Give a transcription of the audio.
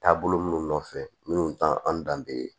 Taabolo minnu nɔfɛ minnu t'an danbe ye